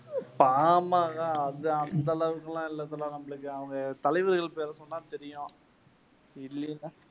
பாமாகா அது அந்த அளவுக்கெல்லாம் இல்ல நம்மளுக்கு அவங்க தலைவர்கள் பேரைச் சொன்னா தெரியும்